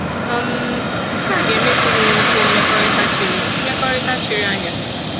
um Nke a ga-eme ka unu nwekwuo mmekọrịta chiri mmekọrịta chiri anya.